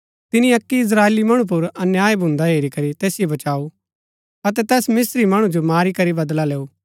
तिनी अक्की इस्त्राएली मणु पुर अन्याय भुन्दा हेरी करी तैसिओ बचाऊ अतै तैस मिस्त्री मणु जो मारी करी बदला लैऊ